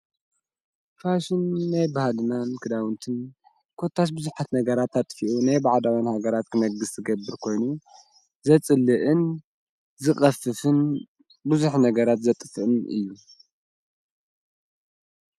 ፋሽን ናይ በህልናን ክዳውንትን ኰታስ ብዙኃት ነገራት ኣጥፊኡ ናይ ባዕዳዊን ሃገራት ክነግሥ ዝገብር ኮይኑ ዘጽልእን ዝቐፍፍን ብዙኅ ነገራት ዘጥፍእን እዩ።